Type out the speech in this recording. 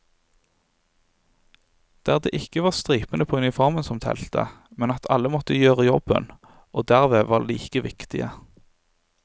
Der det ikke var stripene på uniformen som telte, men at alle måtte gjøre jobben og derved var like viktige.